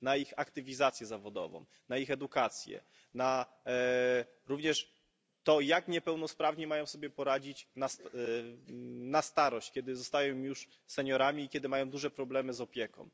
Na ich aktywizację zawodową, na ich edukację, również na to, jak niepełnosprawni mają sobie poradzić na starość, kiedy zostają już seniorami i kiedy mają duże problemy z opieką?